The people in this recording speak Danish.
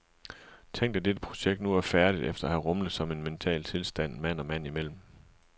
Tænk at dette projekt nu er færdigt efter at have rumlet som en mental tilstand mand og mand imellem.